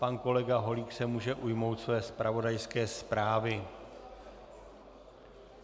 Pan kolega Holík se může ujmout své zpravodajské zprávy.